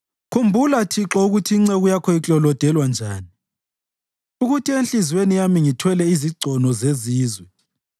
Khumbula, Thixo ukuthi inceku yakho iklolodelwa njani, ukuthi enhliziyweni yami ngithwele izigcono zezizwe,